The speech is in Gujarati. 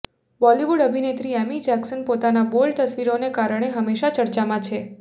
બોલિવૂડ અભિનેત્રી એમી જેક્શન પોતની બોલ્ડ તસવીરોને કારણે હમેશાં ચર્ચામાં છે